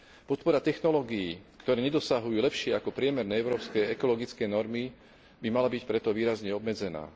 Podpora technológií, ktoré nedosahujú lepšie ako priemerné európske ekologické normy, by mala byť preto výrazne obmedzená.